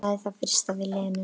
Sagði það í fyrstu við Lenu.